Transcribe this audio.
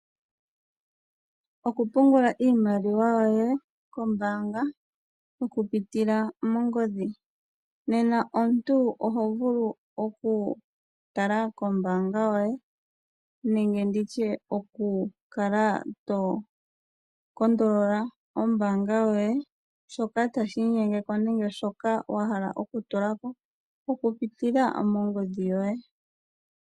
Okupungula iimaliwa yoye kombaanga okupitila mongodhi nena omuntu oho vulu tala kombaanga yoye nenge nditye oku kala tokondolola ombaanga yoye shoka tashi inyenge ko nenge wa hala okutula ko okupitila mongodhi yoye.